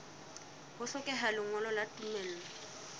ho hlokeha lengolo la tumello